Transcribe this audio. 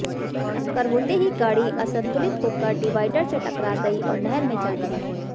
टक्कर होते ही गाड़ी असंतुलित होकर डिवाडर से टकरा गई और नहर में जा गिरी